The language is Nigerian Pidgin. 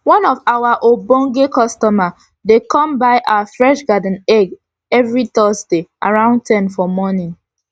one of our ogbonge customer dey come buy our fresh garden egg everi thursday around ten for morning